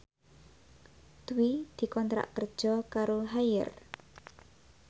Dwi dikontrak kerja karo Haier